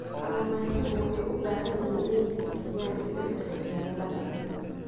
Kalluumaysigu waxay u baahan yihiin inay tixgeliyaan isbeddelka cimilada.